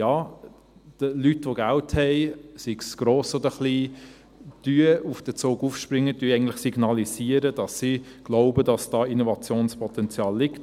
Ja, Leute, die Geld haben, sei es gross oder klein, springen auf den Zug auf und signalisieren eigentlich, dass sie glauben, dass da Innovationspotenzial liegt.